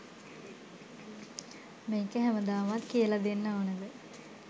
මේක හැමදාමත් කියලා දෙන්න ඕනෙද?